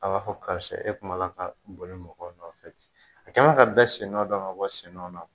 A b'a fɔ karisa e kun b'a la ka boli mɔgɔ nɔfɛ. A kɛlen bɛ ka bɛɛ sennɔn dɔn ka bɔ sennɔn na